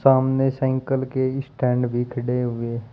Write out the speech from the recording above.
सामने साइकल के स्टैंड भी खड़े हुए--